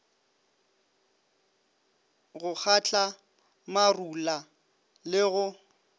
go kgatla marula le go